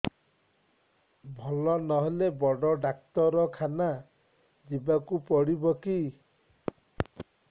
ଭଲ ନହେଲେ ବଡ ଡାକ୍ତର ଖାନା ଯିବା କୁ ପଡିବକି